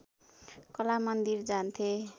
कला मन्दिर जान्थे